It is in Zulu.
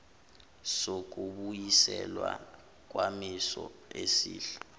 sokubuyiselwa kwisimo esihle